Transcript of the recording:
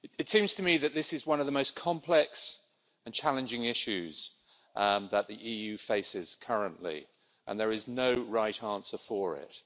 It seems to me that this is one of the most complex and challenging issues that the EU faces currently, and there is no right answer for it.